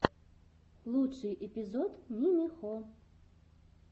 лучший эпизод нимихо